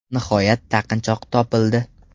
Nihoyat taqinchoq topildi.